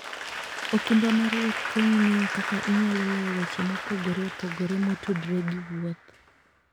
okumba mar wuoth konyi ng'eyo kaka inyalo loyo weche mopogore opogore motudore gi wuoth.